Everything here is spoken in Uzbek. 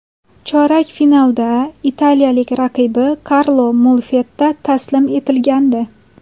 Chorak finalda italiyalik raqibi Karlo Molfetta taslim etilgandi.